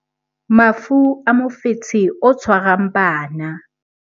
Mafu a mofetshe o tshwarang bana